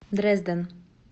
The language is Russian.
дрезден